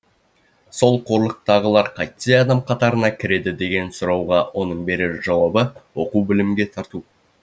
сол қорлықтағылар қайтсе адам қатарына кіреді деген сұрауға оның берер жауабы оқу білімге тарту